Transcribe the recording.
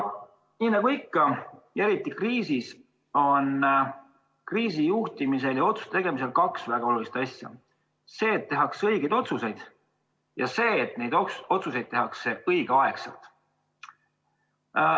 Nii nagu ikka, aga eriti kriisi ajal on kriisi juhtimisel ja otsuste tegemisel kaks väga olulist tegurit: see, et tehakse õigeid otsuseid, ja see, et neid otsuseid tehakse õigel ajal.